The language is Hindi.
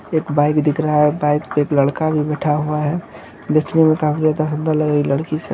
एक बाइक दिख रहा है बाइक पर एक लड़का भी बिठा हुआ है| दिखने में काफी ज्यादा सुन्दर लग रही लड़की से --